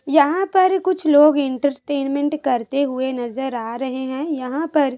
यहाँ पर कुछ लोग एंटरटेनमेंट करते हुए नज़र आ रहे हैं यहाँ पर--